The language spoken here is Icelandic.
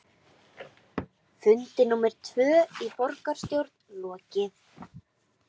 Fundi númer tvö í borgarstjórn lokið